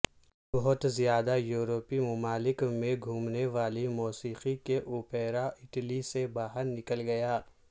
بہت زیادہ یورپی ممالک میں گھومنے والی موسیقی کے اوپیرا اٹلی سے باہر نکل گیا